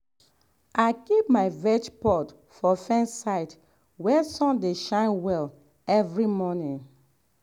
i keep my veg pot for fence side where sun dey shine well every morning.